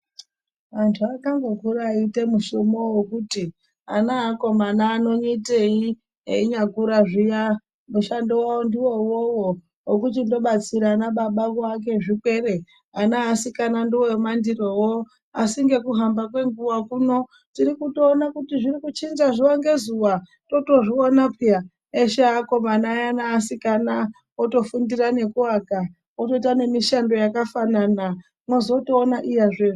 Antu akangokura eiite mushumo wekuti ana eakomana anoitei enyakura zviyani mushando wavo ndiwo uwowo wekuchindo batsira ana baba kuake zvirwere, ana easikana ndiwo emandirowo asi ngekuhamba kwenguwa kuno tirikutiona kuti zvirikuchinja zuwa ngezuwa totozviona peya eshe eakomana aya neasikana otofundira nekuaka otoita nemishando yakafanana mozotoona iyazve.